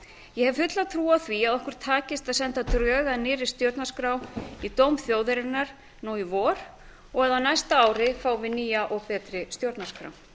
ég hef fulla trú á því að okkur takist að senda drög að nýrri stjórnarskrá í dóm þjóðarinnar nú í vor og að á næsta ári fáum við nýja og betri stjórnarskrá